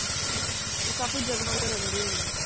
ਅੱਛਾ ਤੇ ਕਾਫੀ ਜਗਮਗ ਰਹਿੰਦੀ ਹੋਣੀ।